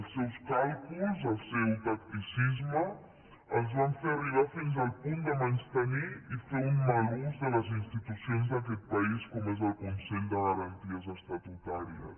els seus càlculs el seu tacticisme els van fer arribar fins al punt de menystenir i fer un mal ús de les institucions d’aquest país com és el consell de garanties estatutàries